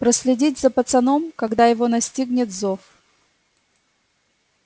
проследить за пацаном когда его настигнет зов